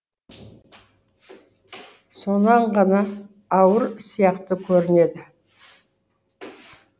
сонан ғана ауыр сияқты көрінеді